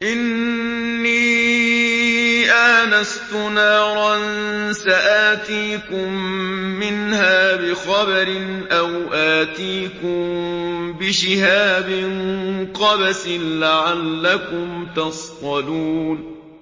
إِنِّي آنَسْتُ نَارًا سَآتِيكُم مِّنْهَا بِخَبَرٍ أَوْ آتِيكُم بِشِهَابٍ قَبَسٍ لَّعَلَّكُمْ تَصْطَلُونَ